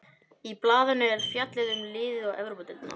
Í blaðinu er fjallið um liðið og Evrópudeildina.